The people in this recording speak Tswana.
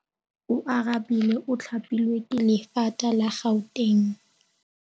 Oarabile o thapilwe ke lephata la Gauteng.